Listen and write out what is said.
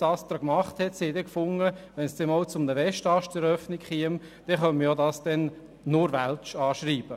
Das ASTRA hat sich gedacht, wenn der Westast einmal eröffnet werden sollte, dann könne man diesen als Ausgleich nur auf Französisch anschreiben.